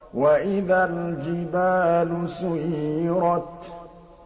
وَإِذَا الْجِبَالُ سُيِّرَتْ